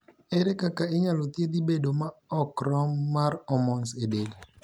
Ere kaka inyalo thiethi bedo ma ok rom mar hormones e del?